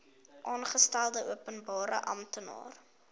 aangestelde openbare amptenaar